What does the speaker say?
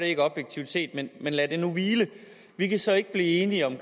ikke objektivt set men lad det nu hvile vi kan så ikke blive enige om